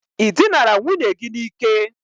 I dinara nwunye gi n' Ike?